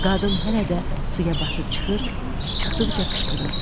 Qadın hələ də suya batıb çıxır, çıxdıqca qışqırırdı.